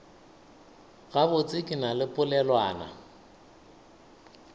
gabotse ke na le polelwana